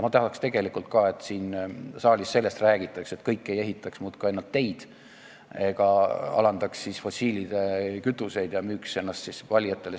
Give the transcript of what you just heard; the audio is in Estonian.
Aga ma tegelikult ka tahaks, et siin saalis sellest räägitaks, et kõik ei ehitaks muudkui ainult teid ega alandaks fossiilkütuste aktsiise ega müüks ennast sedapidi valijatele.